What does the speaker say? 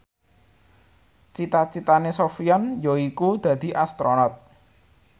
cita citane Sofyan yaiku dadi Astronot